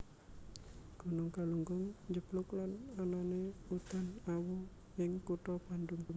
Gunung Galunggung njeblug lan anané udan awu ing kutha Bandung